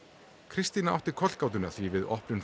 christina átti kollgátuna því við opnun